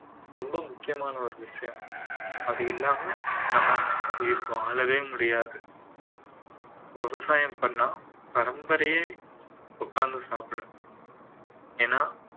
ரொம்ப முக்கியமான ஒரு விஷயம் அது இல்லாம நம்ம உயிர் வாழவே முடியாது விவசாயம் பண்ணா பரம்பரையே உட்கார்ந்து சாப்பிடும் ஏன்னா